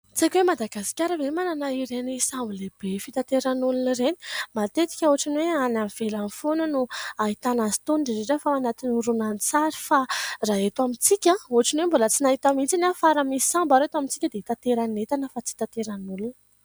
Tsy haiko hoe Madagasikara ve manana ireny sambo lehibe fitaterana olona ireny. Matetika ohatra amin'ny hoe any ivelany foana no ahitana azy itony indrindra indrindra fa ao anaty horonan-tsary fa raha eto amintsika ohatra ny hoe tsy mbola nahita mihitsy aho fa raha misy sambo ary eto amintsika dia hitaterana entana fa tsy hitaterana olona.